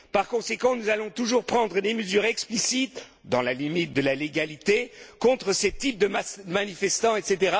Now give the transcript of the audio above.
par conséquent, nous allons toujours prendre les mesures explicites, dans la limite de la légalité, contre ces types de manifestants, etc.